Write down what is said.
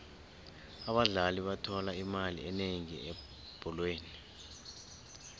abadlali bathola imali enengi ebholweni